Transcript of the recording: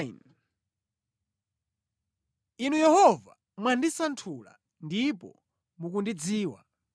Inu Yehova, mwandisanthula ndipo mukundidziwa.